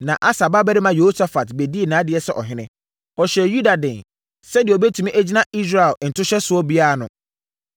Na Asa babarima Yehosafat bɛdii nʼadeɛ sɛ ɔhene. Ɔhyɛɛ Yuda den, sɛdeɛ ɔbɛtumi agyina Israel ntohyɛsoɔ biara ano.